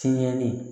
Tiɲɛli